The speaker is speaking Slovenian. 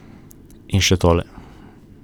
In še tole.